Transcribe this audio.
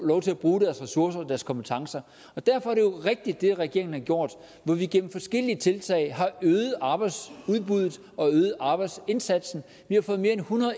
lov til at bruge deres ressourcer og deres kompetencer og derfor er det regeringen har gjort jo hvor vi gennem forskellige tiltag har øget arbejdsudbuddet og øget arbejdsindsatsen vi har fået mere